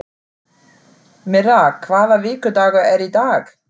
Myrra, hvaða vikudagur er í dag?